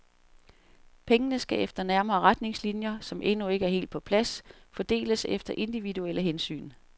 Pengene skal efter nærmere retningslinjer, som endnu ikke er helt på plads, fordeles efter individuelle hensyn.